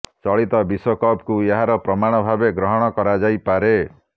ଚଳିତ ବିଶ୍ୱକପ୍ କୁ ଏହାର ପ୍ରମାଣ ଭାବେ ଗ୍ରହଣ କରାଯାଇପାରେ